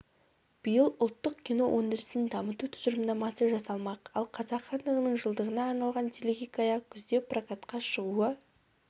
биыл ұлттық кино өндірісін дамыту тұжырымдамасы жасалмақ ал қазақ хандығының жылдығына арналған телехикая күзде прокатқа шығуы